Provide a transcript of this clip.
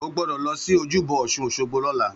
Ó gbọ́dọ̀ lọ sí ojúbọ Òsun Òsogbo lọ́la!